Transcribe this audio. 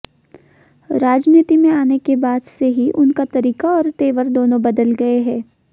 राजनीति में आने के बाद से ही उनका तरीका और तेवर दोनों बदल गए हैं